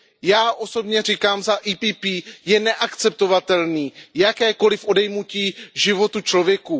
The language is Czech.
Já osobně říkám za PPE je neakceptovatelné jakékoliv odejmutí života člověku.